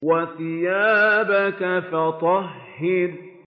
وَثِيَابَكَ فَطَهِّرْ